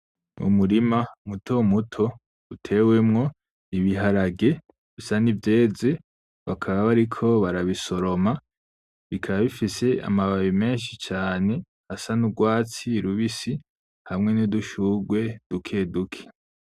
Umurima muto muto utewemwo ibiharage bisa n'ivyeze, bakaba bariko barabisoroma, bikaba bifise amababi menshi cane asa n'urwatsi rubisi, hamwe n'udushurwe duke duke.